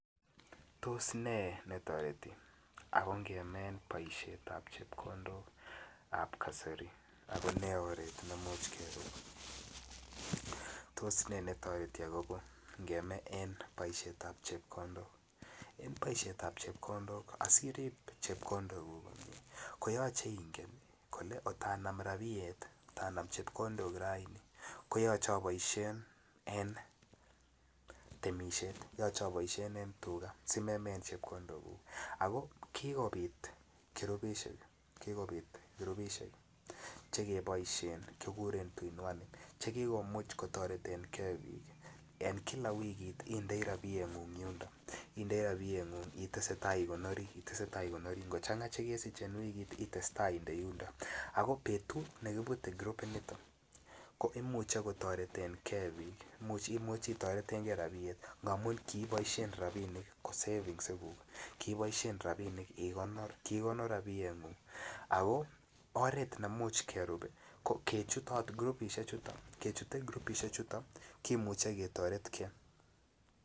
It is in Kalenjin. Tos netoreti ak kongeme paishetap chepkondok ap kasari ago ne oret nemuche kerup tos netoreti kongeme en paishetap chepkondok asi irib chepkondok ii ko yoche ingen kole angot anam rabiet kotanam chepkondok raini koyoche a baishen en temisiet yoche aboisien en tuga asi meme en chepkondok ago ki kobit kirupisiek Che keboisien kikuren tuinuane Che ki komuch kotoreten ge bik en kila wikit ko ki komuch inde rabiengung yuniton itese tai igonori ango changa Che kesich en wikit ites tai inde yuniton ago betut nekibute kirupinito ko imuche kotoreten ge bik Imuch itoreten ge rabinik ngamun kiboisien rabinik ko savings iguk kiboisien rabisiek igonor kiikonor rabiengung ago oret nemuch kerup ko kechut kirupisiechuton Ani chut kirupisiechuton ko Imuch ketoretge